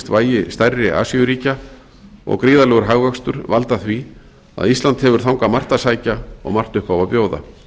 vægi stærri asíuríkja og gríðarlegur hagvöxtur valda því að ísland hefur þangað margt að sækja og margt upp á að bjóða